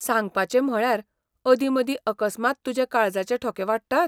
सांगपाचें म्हणल्यार, अदी मदीं अकस्मात तुजे काळजाचे ठोके वाडटात?